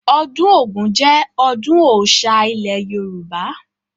Ọdún Ògún jẹ ọdún Ọ̀oṣà ilẹ̀ Yorùbá